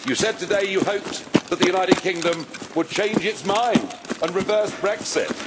You said today you hoped that the United Kingdom would change its mind and reverse Brexit.